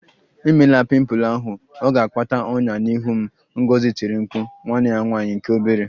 Emela pimple ahụ! Ọ ga-akpata ọnyá n'ihu m, Ngozi tiri mkpu nwanne ya nwanyị nke obere